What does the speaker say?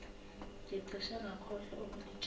ngicishe ngakhohlwa ukunitshela